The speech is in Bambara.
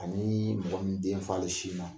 Ani mɔgɔ min den fale sin na